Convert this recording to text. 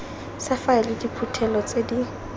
sa faele diphuthelo tse di